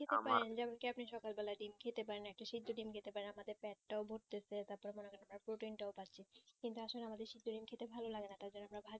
আপনি সকাল বেলা উঠে আপনি ডিম্ খেতে পারেন একটা সেদ্দ ডিম্ খেতে পারেন আমাদের পেট টাও ভোরতেসে তারপর মনে করেন protein টাও পাচ্ছি কিন্তু আসলে আমাদের সেদ্দ ডিম্ খেতে ভালো লাগেনা তার জন্য আমরা ঘরেও